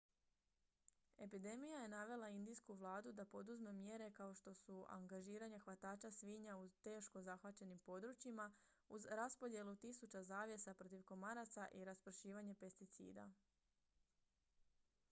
epidemija je navela indijsku vladu da poduzme mjere kao što su angažiranje hvatača svinja u teško zahvaćenim područjima uz raspodjelu tisuća zavjesa protiv komaraca i raspršivanje pesticida